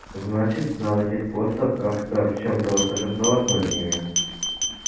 значит надо найти способ как-то в чём-то восторжествоваться над ними